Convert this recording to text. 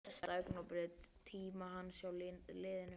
Hvert var besta augnablikið á tíma hans hjá liðinu?